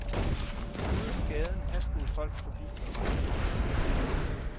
Ude på gaden hastede folk forbi på vej til arbejde.